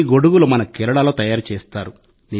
ఈ గొడుగులు మన కేరళలో తయారుచేస్తారు